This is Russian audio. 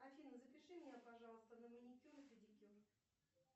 афина запиши меня пожалуйста на маникюр и педикюр